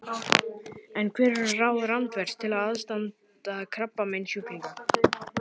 En hver eru ráð Randvers til aðstandanda krabbameinssjúklinga?